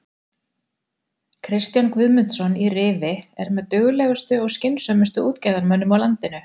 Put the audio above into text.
Kristján Guðmundsson í Rifi er með duglegustu og skynsömustu útgerðarmönnum á landinu.